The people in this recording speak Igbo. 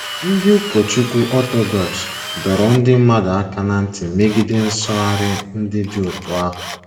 Ndị ụkọchukwu Ọtọdọks dọrọ ndị mmadụ aka ná ntị megide nsụgharị ndị dị otú ahụ.